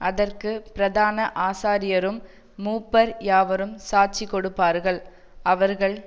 அதற்கு பிரதான ஆசாரியரும் மூப்பர் யாவரும் சாட்சிகொடுப்பார்கள் அவர்கள்